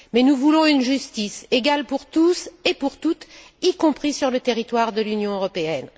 Mais nous voulons une justice égale pour tous et pour toutes, y compris sur le territoire de l'Union européenne.